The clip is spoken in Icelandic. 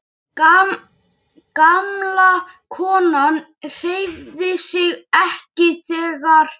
Gamla konan hreyfði sig ekki, þegar